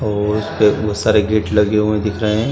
और बहुत सारे गेट लगे हुए दिख रहे हैं।